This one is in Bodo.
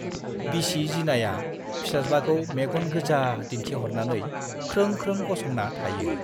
बिसि जिनाया फिसाज्लाखौ मेग'न गोजा दिन्थिह'रनानै ख्रों ख्रों गसंना थायो।